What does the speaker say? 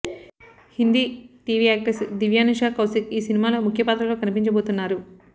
Hindi TV actress Divyanusha Kaushik ఈ cinema లో ముఖ్య పాత్రలో కనిపించబోతున్నారు